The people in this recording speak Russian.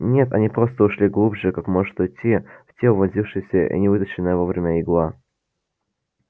нет они просто ушли глубже как может уйти в тело вонзившаяся и не вытащенная вовремя игла